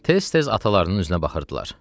Tez-tez atalarının üzünə baxırdılar.